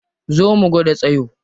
Zo mu gwada tsayo.